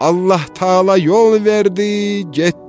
Allah təala yol verdi, getdim.